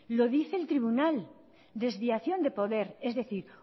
lo dice el tribunal desviación de poder es decir